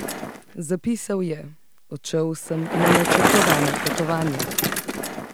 Zapisal je: "Odšel sem na načrtovano potovanje.